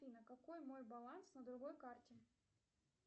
афина какой мой баланс на другой карте